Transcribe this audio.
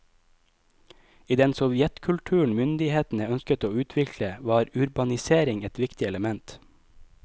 I den sovjetkulturen myndighetene ønsket å utvikle, var urbanisering et viktig element.